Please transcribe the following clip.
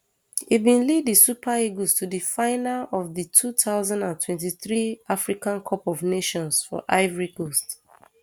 e bin lead di super eagles to di final of di two thousand and twenty-three africa cup of nations for ivory coast